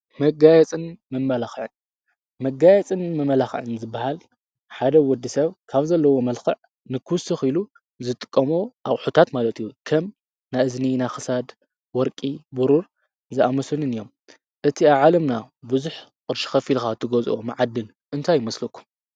መጋየፅን መመላኽዕን ዝበሃል ሓደ ወዲ ሰብ ካብ ዘለዎ መልክዕ ንክውስኽ ኢሉ ዝጥቆሞ ኣቂሑታት ማለት እዩ ከም ናእዝኒ ናኽሳድ ወርቂ ብሩር ዝኣመስንን እዮም እቲ ኣብ ዓለምና ብዙሕ ቕርሺ ኸፊልኻ ትገዝኦ መዓድን እንታይ ይመስለኩም?